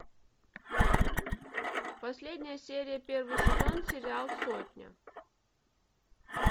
последняя серия первый сезон сериал сотня